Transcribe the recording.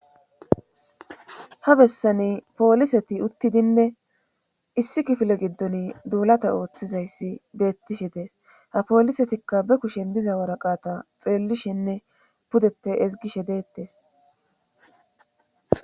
ha bessani pooliseti uttidinne issi kifile giddon duulata ooththizayssi beettishe dees ha poolisetikka be kushen diza waraqata xeellishenne pudeppe ezgishe deettes